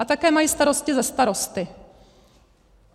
A také mají starosti se starosty.